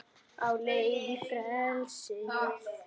Á leið í frelsið